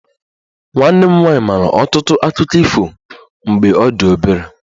Nwanne m nwanyị maara ọtụtụ akụkọ ifo mgbe ọ dị obere